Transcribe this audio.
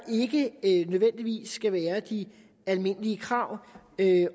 ikke nødvendigvis skal være de almindelige krav